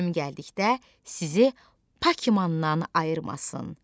Ölüm gəldikdə sizi Pakimandan ayırmasın.